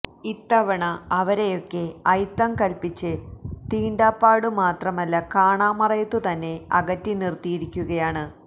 ഇത്തവണ അവരെയൊക്കെ അയിത്തം കല്പ്പിച്ച് തീണ്ടാപ്പാടു മാത്രമല്ല കാണാമറയത്തുതന്നെ അകറ്റി നിര്ത്തിയിരിക്കുകയാണ്